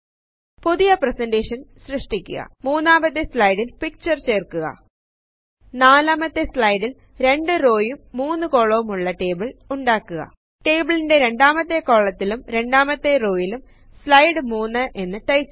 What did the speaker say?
പുതിയ പ്രെസെന്റെഷൻ സൃഷ്ടിക്കുക മുന്നാമത്തെ സ്ലയ്ടിൽ പിക്ചർ ചേർക്കുക നാലാമത്തെ സ്ലയടിൽ 2 റോയും 3 കൊലവുമുള്ള ടേബിൾ ഉണ്ടാക്കുക ടാബിളിന്റെ രണ്ടാമത്തെ കോളത്തിലും രണ്ടാമത്തെ റോയിലും സ്ലൈഡ് 3 എന്ന ടൈപ്പ് ചെയ്യുക